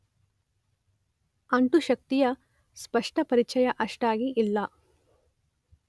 ಅಂಟುಶಕ್ತಿಯ ಸ್ಪಷ್ಟ ಪರಿಚಯ ಅಷ್ಟಾಗಿ ಇಲ್ಲ.